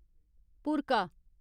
भुरका